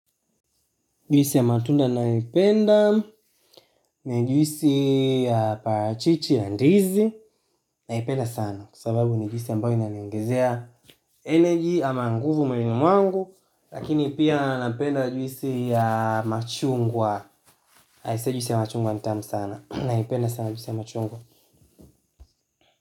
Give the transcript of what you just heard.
Juisi ya matunda ninayoipenda, na juisi ya parachichi ya ndizi, naipenda sana, kwa sababu ni juisi ambayo inaniongezea energy ama nguvu mwilini mwangu, lakini pia napenda juisi ya machungwa, aisee juisi ya machungwa ni tamu sana, naipenda sana juisi ya machungwa.